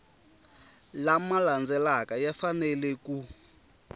lama landzelaka ya fanele ku